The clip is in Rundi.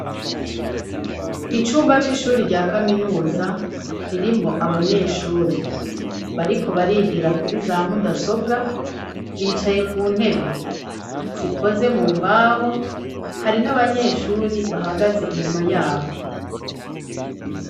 Icumba c'ishuri rya kaminuza ririmwo abanyeshuri bariko barigira kuri za mudasobwa bicaye ku ntebe zikoze mu mbaho hari n'abanyeshuri bahagaze inyuma yabo.